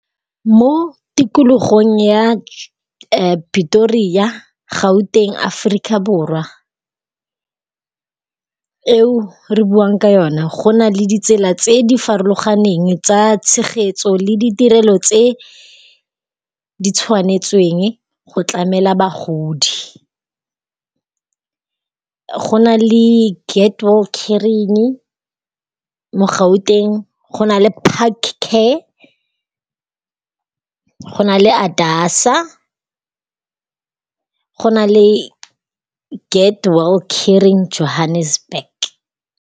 Mo tikologong ya Pitoria, Gauteng, Africa Borwa eo re buang ka yone go na le ditsela tse di farologaneng tsa tshegetso le ditirelo tse ditshwanetsweng go tlamela bagodi. Go na le caring mo Gauteng. Go na le park care, go na le ADASA, go na le get well caring Johannesburg.